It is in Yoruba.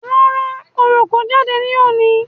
Rárá, oro kò jáde ní òní